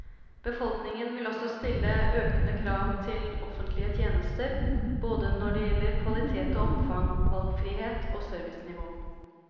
Befolkningen vil også stille økende krav til offentlige tjenester, både når det gjelder kvalitet og omfang, valgfrihet og servicenivå.